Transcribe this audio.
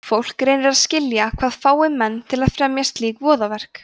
fólk reynir að skilja hvað fái menn til að fremja slík voðaverk